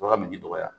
Bagan mi dɔgɔya